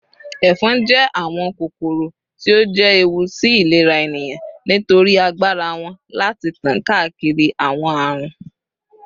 Éfon je àwón kókóró tí o je éwú sí ìlérá éniyán nitórì ágbárá wón lati tan káákiri àwon árun